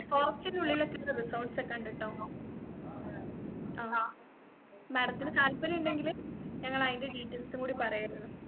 forest ന്റെ ഉള്ളിലൊക്കെ ഉള്ള resorts ഒക്കെ ഉണ്ടട്ടോ അഹ് madam ത്തിനു താല്പര്യം ഉണ്ടെങ്കിൽ ഞങ്ങൾ അതിന്റെ details ഉം കൂടി പറയുവായിരുന്നു